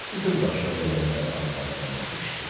Bütün başına gələnləri arvadına danışdı.